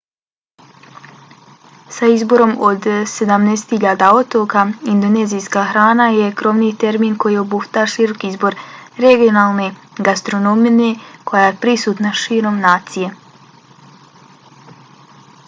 sa izborom od 17.000 otoka indonezijska hrana je krovni termin koji obuhvata širok izbor regionalne gastronomije koja je prisutna širom nacije